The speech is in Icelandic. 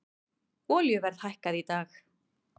Olíuverð hækkaði í dag